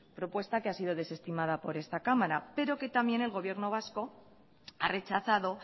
propuesta que ha sido desestimada por esta cámara pero que también el gobierno vasco ha rechazado